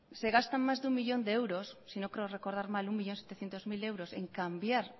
se gastan más de uno millón de euros si no creo recordar mal un millón setecientos mil euros en cambiar